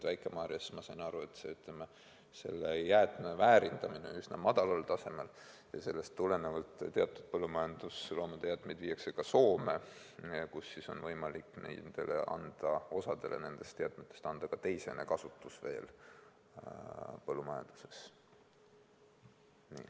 Väike-Maarjas, nagu ma aru sain, on nende jäätmete väärindamine üsna madalal tasemel ja sellest tulenevalt teatud põllumajandusloomade jäätmed viiakse Soome, kus on võimalik osa nendest jäätmetest põllumajanduses teiseselt kasutusele võtta.